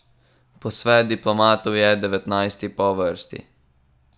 Posvet diplomatov je devetnajsti po vrsti.